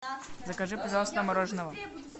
закажи пожалуйста мороженого